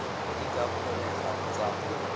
di ka kgonegang tsa go